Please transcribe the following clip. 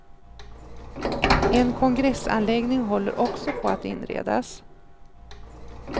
En kongressanläggning håller också på att inredas.